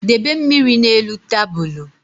Debe mmiri na-elu tabulu